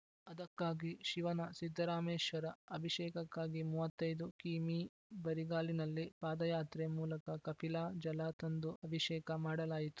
ಅದಕ್ಕಾಗಿ ಶಿವನ ಸಿದ್ದರಾಮೇಶ್ವರ ಅಭಿಷೇಕಕ್ಕಾಗಿ ಮೂವತ್ತ್ ಐದು ಕಿಮೀ ಬರಿಗಾಲಿನಲ್ಲಿ ಪಾದಯಾತ್ರೆ ಮೂಲಕ ಕಪಿಲಾ ಜಲ ತಂದು ಅಭಿಷೇಕ ಮಾಡಲಾಯಿತು